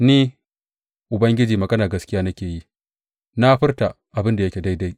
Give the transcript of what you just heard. Ni, Ubangiji maganar gaskiya nake yi; na furta abin da yake daidai.